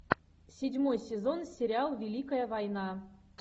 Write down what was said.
седьмой сезон сериал великая война